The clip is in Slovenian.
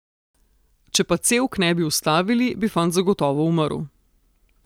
Če pa cevk ne bi vstavili, bi fant zagotovo umrl.